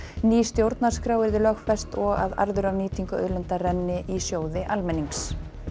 ný stjórnarskrá yrði lögfest og að arður af nýtingu auðlinda renni í sjóði almennings